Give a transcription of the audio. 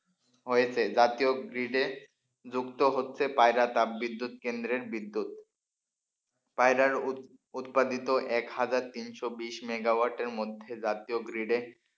হয়েছে জাতীয় grid য়ে যুক্ত হতে পায়রা তাপবিদ্যুৎ কেন্দ্রের বিদ্যুৎ। পায়রার উৎপাদিত এক হাজার তিনশো বিশ মেগাওয়াটের মধ্যে জাতীয় grid য়ে,